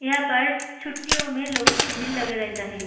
यहां पर छुट्टियों में लोगो के भीड़ लगे रेहता है।